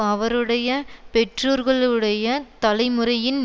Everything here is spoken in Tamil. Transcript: அவருடைய பெற்றோர்களுடைய தலைமுறையின்